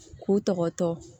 K'u tɔgɔ tɔ